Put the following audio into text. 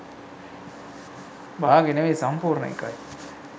බාගෙ නෙවෙයි සම්පූර්ණ එකයි